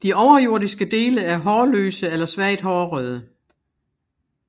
De overjordiske dele er hårløse eller svagt hårede